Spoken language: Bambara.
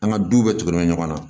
An ka duw bɛɛ tigɛlen don ɲɔgɔn na